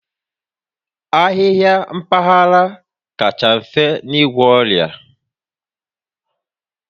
Ahịhịa mpaghara kacha mfe n'igwọ ọrịa